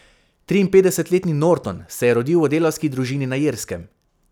Triinpetdesetletni Norton se je rodil v delavski družini na Irskem.